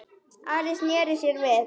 Ari sneri sér við.